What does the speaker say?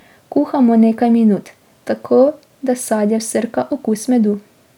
Kuhamo nekaj minut, tako da sadje vsrka okus medu.